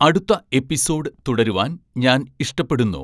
അടുത്ത എപ്പിസോഡ് തുടരുവാൻ ഞാൻ ഇഷ്ടപ്പെടുന്നു